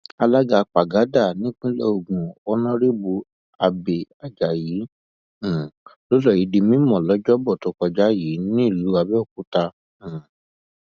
alága págádà nípínlẹ ogun onírèbù abẹẹ ajayi um ló sọ èyí di mímọ lọjọbọ tó kọjá yìí nílùú àbẹòkúta um